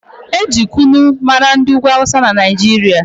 Eji kunu mara ndị ugwu awụsa na Naijiria